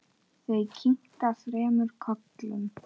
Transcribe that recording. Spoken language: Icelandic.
Þau kinka þremur kollum.